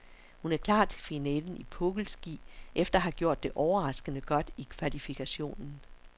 Hun er klar til finalen i pukkelski efter at have gjort det overraskende godt i kvalifikationen.